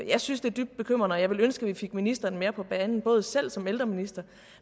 jeg synes det er dybt bekymrende og jeg ville ønske at vi fik ministeren mere på banen både selv som ældreminister